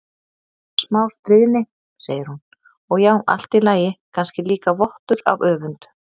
Bara smá stríðni, segir hún, og já, allt í lagi, kannski líka vottur af öfund.